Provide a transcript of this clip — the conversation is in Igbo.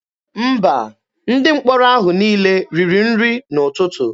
Mba, Ndị mkpọrọ ahụ niile riri nri n'ụtụtụ.